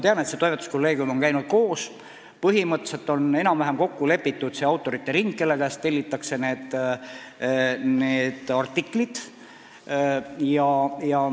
Tean, et toimetuskolleegium on koos käinud ning põhimõtteliselt on enam-vähem kokku lepitud autorite ring, kelle käest need artiklid tellitakse.